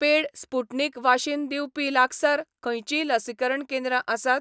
पेड Sputnik वाशीन दिवपी लागसार खंयचींय लसीकरण केंद्रां आसात?